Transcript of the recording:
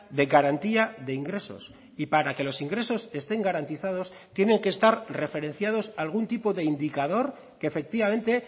de garantía de ingresos y para que los ingresos estén garantizados tienen que estar referenciados algún tipo de indicador que efectivamente